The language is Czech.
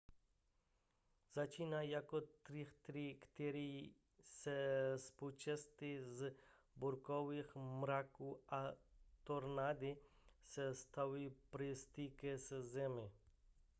začínají jako trychtýře které se spouštějí z bouřkových mraků a tornády se stávají při styku se zemí